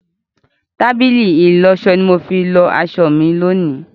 Tábìlì ìlọsọ ni mo fi lọ aṣọ mi lónìí.